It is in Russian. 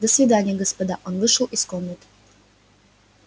до свидания господа он вышел из комнаты